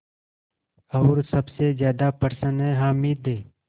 और सबसे ज़्यादा प्रसन्न है हामिद